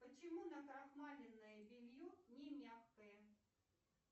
почему накрахмаленное белье не мягкое